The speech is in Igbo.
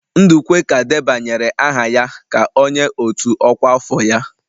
Ndukwe ka debanyere aha ya ka onye otu ọkwa afọ ya.